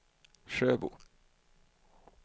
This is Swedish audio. Sjöbo